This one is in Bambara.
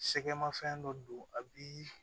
Sɛgɛnmafɛn dɔ don a bi